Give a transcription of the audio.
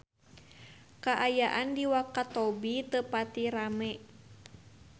Kaayaan di Wakatobi teu pati rame